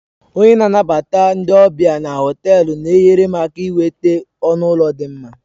Onye na-anabata ndị ọbịa na họtelu na-enyere m aka inweta ọnụ ụlọ dị mma